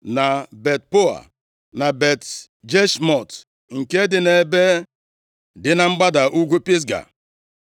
na Bet-Peoa, na Bet-Jeshimọt, nke dị nʼebe dị na mgbada ugwu Pisga;